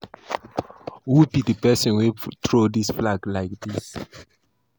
Who be the person wey throw dis flag for ground like dis?